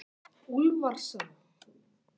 Úlfarsá